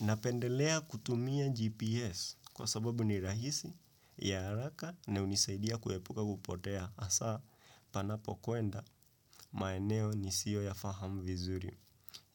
Napendelea kutumia GPS kwa sababu ni rahisi ya haraka na hunisaidia kuepuka kupotea hasa panapo kuenda maeneo nisiyo ya fahamu vizuri.